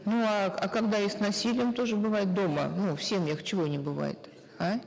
ну а а когда и с насилием тоже бывает дома ну в семьях чего не бывает а